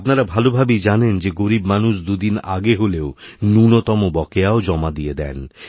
আপনারা ভালোভাবেই জানেন যে গরীব মানুষ দুদিন আগে হলেও ন্যূণতমবকেয়াও জমা দিয়ে দেন